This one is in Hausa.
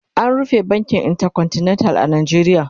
an rufe bankin intercontinental a Najeriya